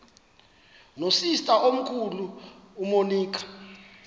nosister omkhulu umonica